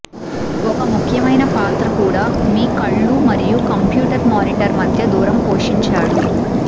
ఒక ముఖ్యమైన పాత్ర కూడా మీ కళ్ళు మరియు కంప్యూటర్ మానిటర్ మధ్య దూరం పోషించాడు